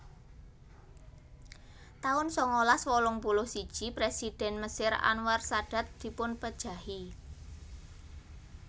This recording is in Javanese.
taun sangalas wolung puluh siji Présidhèn Mesir Anwar Sadat dipunpejahi